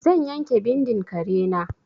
Zan yanke bindin kare na.